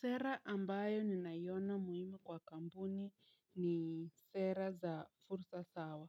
Sera ambayo ni naiona muhimu kwa kampuni ni sera za fursa sawa.